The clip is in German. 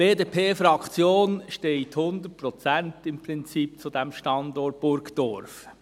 Die BDP-Fraktion steht im Prinzip 100 Prozent zu diesem Standort Burgdorf.